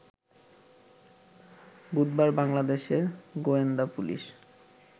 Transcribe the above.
বুধবার বাংলাদেশের গোয়েন্দা পুলিশ